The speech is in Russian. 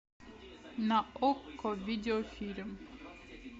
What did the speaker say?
на окко видео фильм